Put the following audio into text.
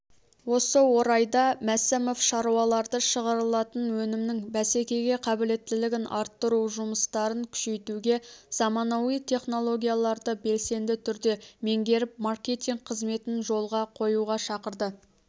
осы орайда мәсімов шаруаларды шығарылатын өнімнің бәсекеге қабілеттілігін арттыру жұмыстарын күшейтуге заманауи технологияларды белсенді түрде меңгеріп маркетинг қызметін жолға қоюға шақырды